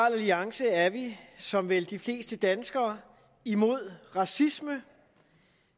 alliance er vi som vel de fleste danskere imod racisme